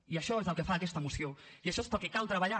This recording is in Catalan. i això és el que fa aquesta moció i això és pel que cal treballar